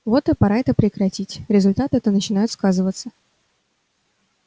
вот и пора это прекратить результаты-то начинают сказываться